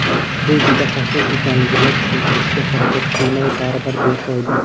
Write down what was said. Bu juda xavfli ekanligini tushuntirishga harakat qilmay baribir befoyda.